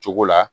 Cogo la